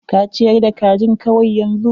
Ka ciyar da kajin kawai yanzu.